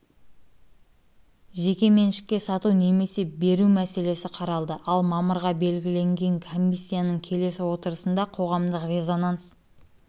жеке меншікке сату немесе беру мәселесі қаралды ал мамырға белгіленген комиссияның келесі отырысында қоғамдық резонанс